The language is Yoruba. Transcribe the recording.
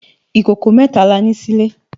Ikókó mètá lá ni silé